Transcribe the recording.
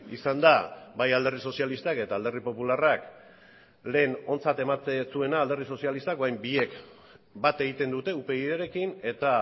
izan da bai alderdi sozialistak eta alderdi popularrak lehen ontzat ematen zuena alderdi sozialistak orain biek bat egiten dute upydrekin eta